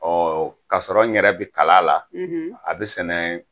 Ɔ kasɔrɔ n yɛrɛ bɛ kalan la a bɛ sɛnɛ